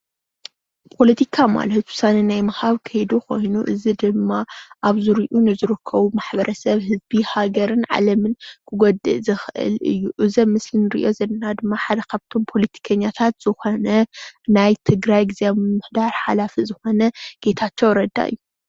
ፖለቲካ ማለት ውሳነ ናይ ምሃብ ከይዲ ኮይኑ እዚ ድማ ኣብ ዙርዩኡ ንዝርከቡ ማሕበረሰብ ህዝብን ሃገርን ዓለምን ክጎድእ ዝክእል እዩ፡፡ እዚ ኣብ ምስሊ እንሪኦ ዘለና ድማ ሓደ ካብእቲ ፖለቲከኛታት ዝኮነ ናይ ትግራይ ግዝያዊ ምምሕዳር ሓላፊ ዝኮነ ጌታቸው ረዳ እዩ፡፡